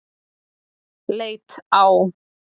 Leit á